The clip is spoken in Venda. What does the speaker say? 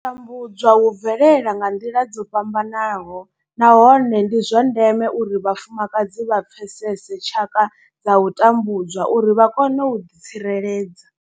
U tambudzwa hu bvelela nga nḓila dzo fhambanaho nahone ndi zwa ndeme uri vhafumakadzi vha pfesese tshaka dza u tambudzwa uri vha kone u ḓi tsireledza.